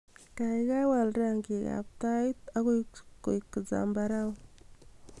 gaigai wal rangik ab tait agoi koik zambarau